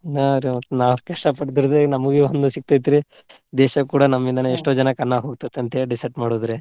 ಹಾ ರೀ ನಾವ್ ಕಷ್ಟಾಪಟ್ಟ್ ದುಡದ್ರ ನಮಗು ಹೆಮ್ಮೆ ಸಿಗ್ತೇತ್ರಿ ದೇಶಕ್ಕ್ ಕೂಡ ನಮ್ಮಿಂದಾನು ಎಷ್ಟೋ ಜನಕ್ ಅನ್ನ ಮಾಡಿದೆ.